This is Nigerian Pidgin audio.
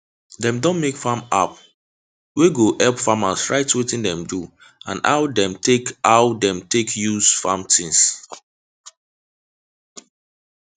dem don make farm app wey go help farmers write wetin dem do and how dem take how dem take use farm things